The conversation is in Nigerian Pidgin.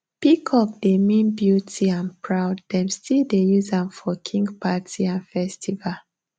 peacock dey mean beauty and proud dem still dey use am for king party and festival